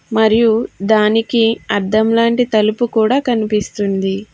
మరియు దానికి అద్దంలాంటి తలుపు కూడా కనిపిస్తుంది.